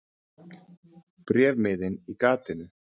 Bréfmiðinn í gatinu.